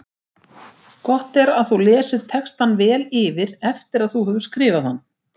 Gott er að þú lesir textann vel yfir eftir að þú hefur skrifað hann.